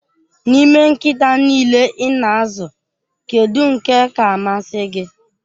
N'ime nkịta niile ị na-azụ, kedu nke ka-amasị gị?